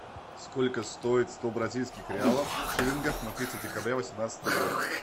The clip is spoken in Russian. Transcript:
сколько стоит сто бразильских реалов в шиллингах на третье декабря восемнадцатый год